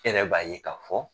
Yɛrɛ b'a ye ka fɔ